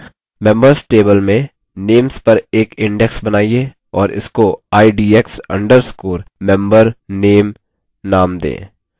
membeers table में names पर एक index बनाइए और इसको idx _ membername names दें